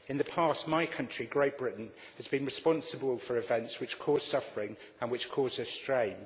In the past my country, Great Britain, has been responsible for events which caused suffering and which cause us pain.